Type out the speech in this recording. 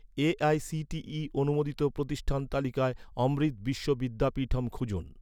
AICTE অনুমোদিত প্রতিষ্ঠান তালিকায়, অমৃত বিশ্ব বিদ্যাপীঠম খুঁজুন